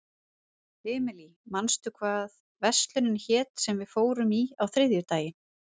Emely, manstu hvað verslunin hét sem við fórum í á þriðjudaginn?